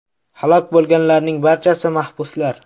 Halok bo‘lganlarning barchasi mahbuslar.